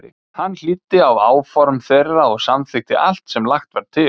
Hann hlýddi á áform þeirra og samþykkti allt sem lagt var til.